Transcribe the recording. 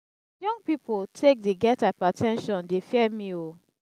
young pipo take dey get hyper ten sion dey fear me o.